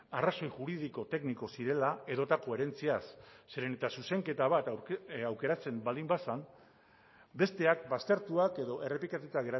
arrazoi juridiko tekniko zirela edota koherentziaz zeren eta zuzenketa bat aukeratzen baldin bazen besteak baztertuak edo errepikatuta